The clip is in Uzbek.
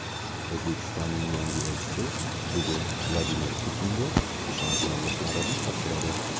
O‘zbekistonning yangi elchisi bugun Vladimir Putinga ishonch yorliqlarini topshiradi.